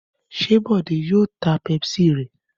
Ṣé Bọ̀dé yóò ta Pepsi rẹ̀?